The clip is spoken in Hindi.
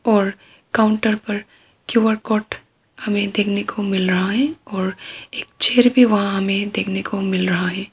और काउंटर पर क्यू_आर कोड हमे देखने को मिल रहा है और एक चेयर भी वहां हमें देखने को मिल रहा है।